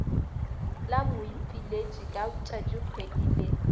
la moipiletši ka tšatšikgwedi le